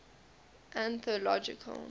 anthological